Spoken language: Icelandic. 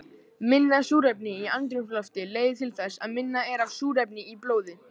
Minna súrefni í andrúmslofti leiðir til þess að minna er af súrefni í blóði.